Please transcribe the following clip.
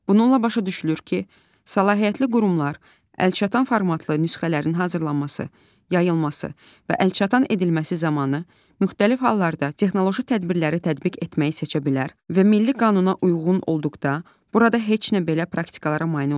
Bununla başa düşülür ki, səlahiyyətli qurumlar əlçatan formatlı nüsxələrin hazırlanması, yayılması və əlçatan edilməsi zamanı müxtəlif hallarda texnoloji tədbirləri tətbiq etməyi seçə bilər və milli qanuna uyğun olduqda burada heç nə belə praktikalara mane olmur.